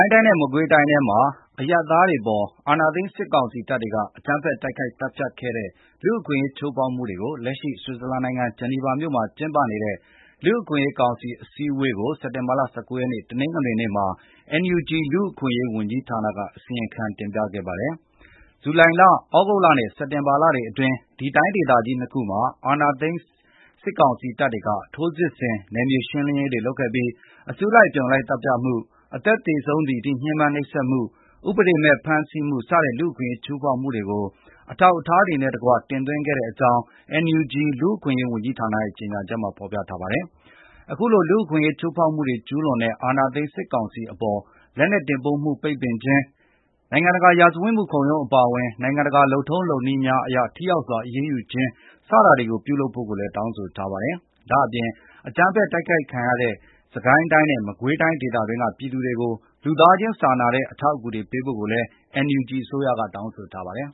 ုင်းတိုင်းနဲ့ မကွေးတိုင်းတွေထဲမှာ အရပ်သားတွေအပေါ် အာဏာသိမ်း စစ်ကောင်စီတပ်တွေက အကြမ်းဖက်တိုက်ခိုက် သတ်ဖြတ်ခဲ့တဲ့ လူ့အခွင့်အရေး ချိုးဖောက်မှုတွေကို လက်ရှိ ဆွစ်ဇာလန်နိုင်ငံ ဂျီနီဗာမြို့မှာ ကျင်းပနေတဲ့ လူ့အခွင့်အရေးကောင်စီမှာ စက်တင်ဘာလ ၁၉ ရက်နေ့ တနင်္ဂနွေနေ့က NUG လူ့အခွင့်အရေးဝန်ကြီးဌာနက တင်သွင်းခဲ့ပါတယ်။ ဇူလိုင်လ၊ သြဂုတ်လနဲ့ စက်တင်ဘာလတွေအတွင်း ဒီတိုင်းဒေသကြီး ၂ ခုမှာ အာဏာသိမ်း စစ်ကောင်စီတပ်တွေက ထိုးစစ်ဆင် နယ်မြေရှင်းရေးတွေ လုပ်ခဲ့ပြီး အစုလိုက် အပြုံလိုက် သတ်ဖြတ်မှု၊ အသက်သေဆုံးသည်အထိ ညှဉ်းပန်းနှိပ်စက်မှု၊ ဥပဒေမဲ့ ဖမ်းဆီးမှု စတဲ့ လူ့အခွင့်အရေး ချိုးဖောက်မှုတွေကို အထောက်အထားများနဲ့တကွ တင်သွင်းခဲ့ကြောင်း NUG လူ့အခွင့်အရေးဝန်ကြီးဌာနရဲ့ ကြေညာချက်မှာ ဖော်ပြထားပါတယ်။ အခုလို လူ့အခွင့်အရေး ချိုးဖောက်မှုတွေ ကျူးလွန်တဲ့ အာဏာသိမ်း စစ်ကောင်စီအပေါ် လက်နက်တင်ပို့မှု ပိတ်ပင်ခြင်း၊ နိုင်ငံတကာ ရာဇဝတ်မှုခုံရုံး အပါအဝင် နိုင်ငံတကာ လုပ်ထုံးလုပ်နည်းများအရ ထိရောက်စွာ အရေးယူခြင်းတွေ ပြုလုပ်ဖို့ကိုလည်း တောင်းဆိုထားပါတယ်။ ဒါ့အပြင် အကြမ်းဖက်တိုက်ခိုက်ခံရတဲ့ စစ်ကိုင်းတိုင်းနဲ့ မကွေးတိုင်း ဒေသအတွင်းက ပြည်သူတွေကို လူသားခြင်းစာနာတဲ့ အထောက်အကူများ ပေးဖို့ကိုလည်း NUG အစိုးရက တောင်းဆိုထားပါတယ်